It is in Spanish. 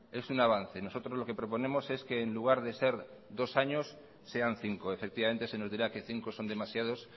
es un avance nosotros lo que proponemos es que en lugar de ser dos años sean cinco efectivamente se nos dirá que cinco son demasiados